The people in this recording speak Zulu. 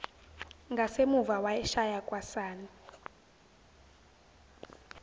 ngasemuva wayeshaya kwasani